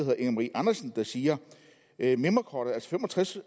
der siger at mimrekortet altså fem og tres